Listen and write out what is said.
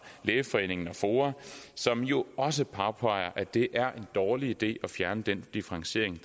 lægeforeningen og foa som jo også påpeger at det er en dårlig idé at fjerne den differentiering i